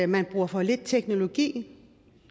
man bruger for lidt teknologi